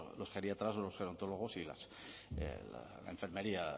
los geriatras los gerontólogos y la enfermería